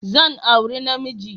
Zan auri na namiji.